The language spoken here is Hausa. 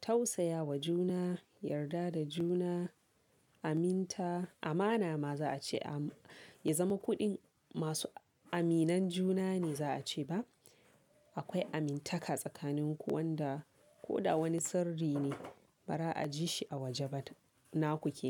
tausaya wa juna, yarda da juna, aminta, amana ma za a ce, ya zama ku ɗin masu aminan juna ne za a ce ba? Akwai amintaka tsakanin ku wanda ko da wani sirri ne ba za a ji shi a waje ba, na ku ke.